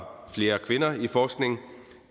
flere kvinder i forskning